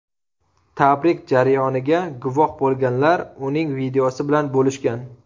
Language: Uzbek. Tabrik jarayoniga guvoh bo‘lganlar uning videosi bilan bo‘lishgan.